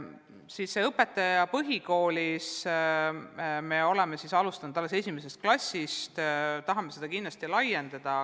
Mis puudutab õpetajaid põhikoolis – me oleme alustanud esimesest klassist, aga tahame seda tegevust kindlasti laiendada.